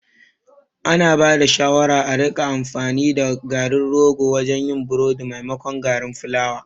An bada shawara a rika amfani da garin rogo wajen yin burodi maimakon garin fulawa